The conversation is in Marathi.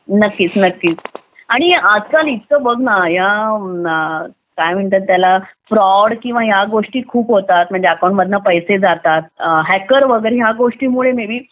नक्कीच नक्कीच आणि आजकाल इतकं बघ ना या इतक्या फ्रॉड इतक्या गोष्टी खूप होतात म्हणजे अकाउंट मधून पैसे जातात हॅकर वगैरे या गोष्टींमुळे मी बी